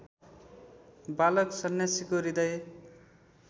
बालक सन्यासीको हृदय